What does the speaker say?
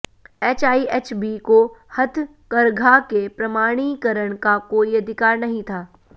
HIHB को हथकरघा के प्रमाणीकरण का कोई अधिकार नहीं था